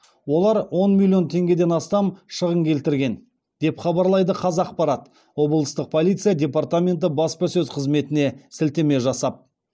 олар он миллион теңгеден астам шығын келтірген деп хабарлайды қазақпарат облыстық полиция департаменті баспасөз қызметіне сілтеме жасап